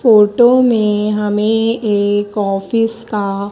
photo में हमें एक ऑफिस का--